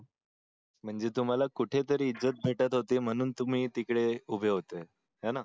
म्हणजे तुम्हाला कोठे तरी इज्जत भेटत होती म्हणून तुम्ही तिकडे उभे होते हे ना